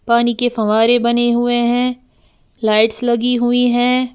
पानी की फव्वारे बने हुए हैं लाइट्स लगी हुई हैं।